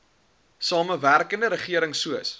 samewerkende regering soos